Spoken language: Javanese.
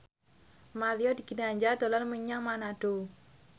Mario Ginanjar dolan menyang Manado